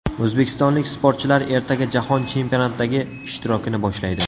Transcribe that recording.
O‘zbekistonlik sportchilar ertaga Jahon chempionatidagi ishtirokini boshlaydi.